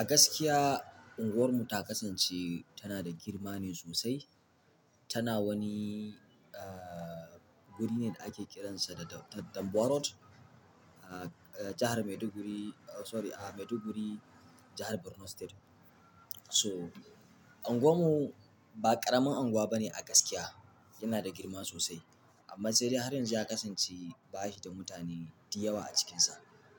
A gaskiya unguwarmu ta kasance tana da girma ne sosai. Tana wani, aaa guri ne da ake kiransa da Danbuwarot a jahar Maiduguri. Sorry a Maiduguri, jahar Borno State. So unguwar mu ba ƙaramin anguwa bane a gaskiya, yana da girma sosai amma sai dai har yanzu ya kasance ba shi da mutane diyawa a cikinsa.